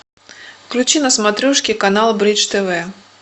включи на смотрешке канал бридж тв